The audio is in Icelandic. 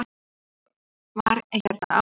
Ekki eins og var hérna áður.